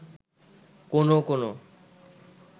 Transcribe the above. কোনো কোনো